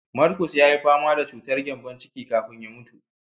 Marcus yayi fama da chutar gyambon ciki kafin ya mutu.